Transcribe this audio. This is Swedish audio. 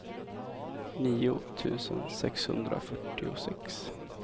nio tusen sexhundrafyrtiosex